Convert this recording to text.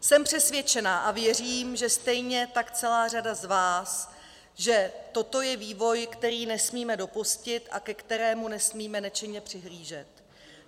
Jsem přesvědčena, a věřím, že stejně tak celá řada z vás, že toto je vývoj, který nesmíme dopustit a ke kterému nesmíme nečinně přihlížet.